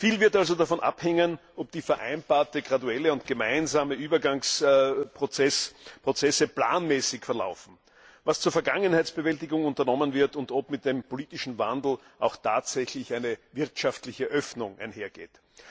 Viel wird also davon abhängen, ob die vereinbarten graduellen und gemeinsamen Übergangsprozesse planmäßig verlaufen, was zur Vergangenheitsbewältigung unternommen wird und ob mit dem politischen Wandel auch tatsächlich eine wirtschaftliche Öffnung einhergeht.